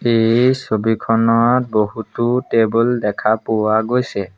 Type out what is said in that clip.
এই ছবিখনত বহুতো টেবুল দেখা পোৱা গৈছে।